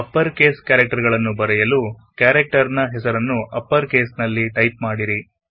upper case ನಲ್ಲಿ type ಮಾಡಲುಹೆಸರನ್ನು upper case ನಲ್ಲಿ ಟೈಪ್ ಮಾಡಿರಿ